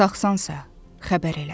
Sağsansə, xəbər elə.